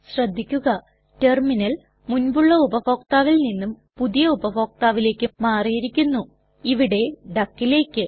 ശ്രദ്ധിക്കുക ടെർമിനൽ മുൻപുള്ള ഉപഭോക്താവിൽ നിന്നും പുതിയ ഉപഭോക്താവിലേക്ക് മാറിയിരിക്കുന്നു ഇവിടെ duckലേക്ക്